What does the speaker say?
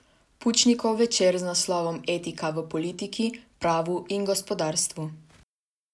Pučnikov večer z naslovom Etika v politiki, pravu in gospodarstvu.